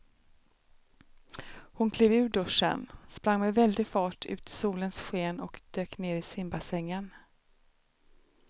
Hon klev ur duschen, sprang med väldig fart ut i solens sken och dök ner i simbassängen.